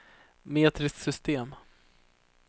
metriskt system